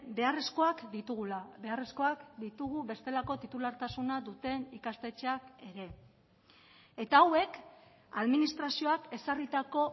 beharrezkoak ditugula beharrezkoak ditugu bestelako titulartasuna duten ikastetxeak ere eta hauek administrazioak ezarritako